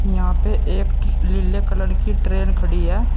यहां पे एक नीले कलर की ट्रेन खड़ी है।